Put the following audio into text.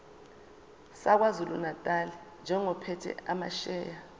sakwazulunatali njengophethe amasheya